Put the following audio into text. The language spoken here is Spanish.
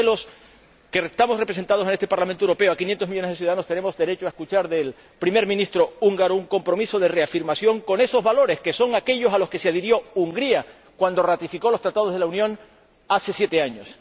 Y creo que los que estamos representando en este Parlamento Europeo a 500 millones de ciudadanos tenemos derecho a escuchar del Primer Ministro húngaro un compromiso de reafirmación con esos valores que son aquellos a los que se adhirió Hungría cuando ratificó los Tratados de la Unión hace siete años.